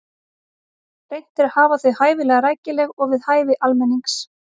Reynt er að hafa þau hæfilega rækileg og við hæfi almennings.